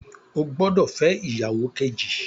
O gbódò fẹ ìyàwó Kejì!